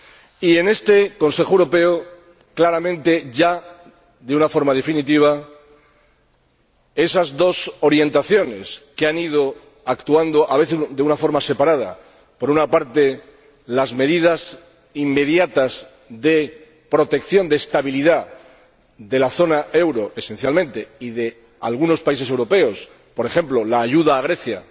Y en este Consejo Europeo, claramente, ya de una forma definitiva, esas dos orientaciones que han ido actuando a veces de una manera separada, por una parte las medidas inmediatas de protección de estabilidad de la zona euro esencialmente y de algunos países europeos, por ejemplo, la ayuda a Grecia,